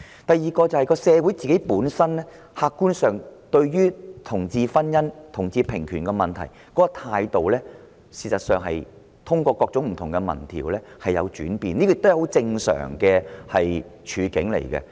第二，社會對同志婚姻和同志平權的客觀態度，事實上可從各種不同民調發現確有轉變，而這亦屬相當正常。